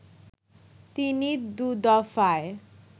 তিনি দু'দফায়